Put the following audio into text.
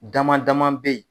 Dama dama be yen